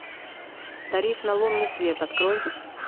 тариф на лунный свет открой